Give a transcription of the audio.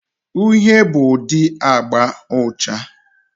Uhie bụ ụdị agba ucha.